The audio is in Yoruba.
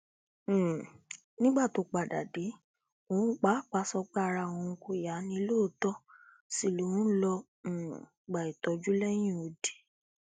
um nígbà tó padà dé òun pàápàá sọ pé ara òun kò yá ni lóòótọ sí lòun lọọ um gba ìtọjú lẹyìnọdì